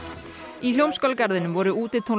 í Hljómskálagarðinum voru